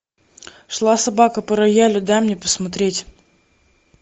шла собака по роялю дай мне посмотреть